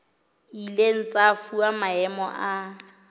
ileng tsa fuwa maemo a